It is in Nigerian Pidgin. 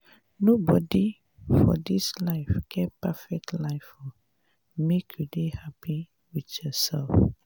nobodi for dis life get perfect life o make you dey hapi wit yoursef.